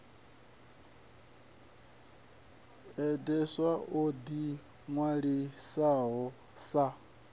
deedsweb o ḓi ṅwalisaho sa